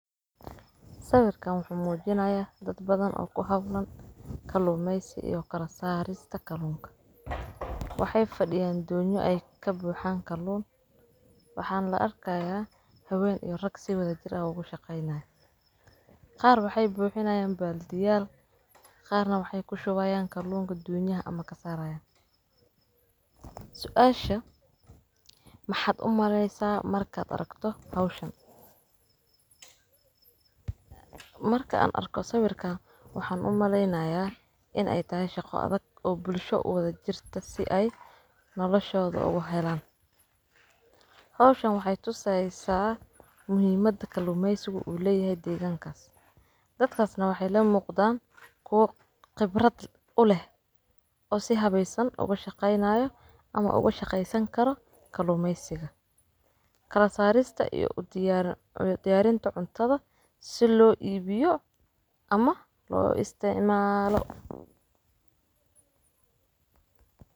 Sawirka wuxuu muujinayaa dad badan oo ku hablan kalluumeysi iyo kala saarista kaluunka. Waxay fadhiyaan doonyo ay ka buuxaan kalluun, waxaan la arkayaa haween iyo rag si wada jir ah ugu shaqaynaya. Qaar waxay buuxinayaan baal diyaar, qaarna waxay ku showayaan kalluunka duuyan ama kasarayaan. Su'aasha maxad umaleysaa markaad aragto hawshan? Marka aan arko sawirkana, waxaan umaleynayaa in ay tahay shaqo adag oo bulsho u wada jirta si ay noloshoda uga helaan. Hawshan waxay tusaysaa muhiimadda kalluumeysiga u leh deegankas. Dadkaasna waxay leen muuqdaan kuwo khibrad uhleh oo sii habeesan uga shaqaynayo ama uga shaqeynsan karo kalluumeysiga, kala saarista iyo u diyaar u diyaarin doontada si loo iibiyo ama loo isticmaalo.